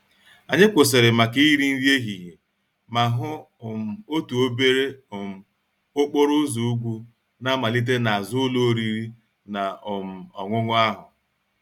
Anyị kwụsịrị maka iri nri ehihie ma hụ um otu obere um okporo ụzọ ugwu na-amalite n'azụ ụlọ oriri na um ọṅụṅụ ahụ.